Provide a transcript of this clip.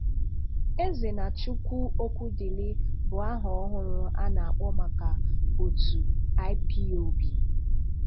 Ezenachukwu Okwudili bụ àha ọhụrụ um a na-akpọ maka otu IPOB.